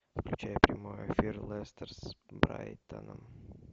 включай прямой эфир лестер с брайтоном